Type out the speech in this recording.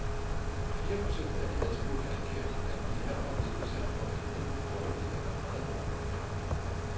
Fire procent af de adspurgte angav, at de her var blevet udsat for en enten dårlig eller meget dårlig behandling.